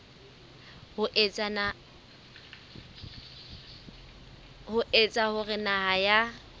ho etsa hore naha ya